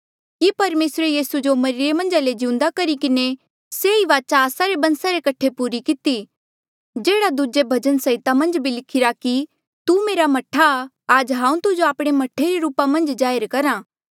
कि परमेसरे यीसू जो मरिरे मन्झ ले जिउंदा करी किन्हें सेई वाचा आस्सा रे बंसा रे कठे पूरी किती जेह्ड़ा दूजे भजन संहिता मन्झ भी लिखिरा कि तू मेरा मह्ठा आ आज हांऊँ तुजो आपणे मह्ठे रे रूपा मन्झ जाहिर करहा